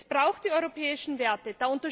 Es braucht die europäischen Werte.